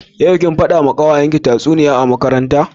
Yau kuwa, kin fada wa kawayanki tatsuniya a makaranta yau?